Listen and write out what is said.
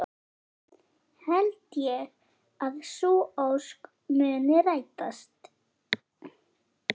Held ég að sú ósk muni rætast?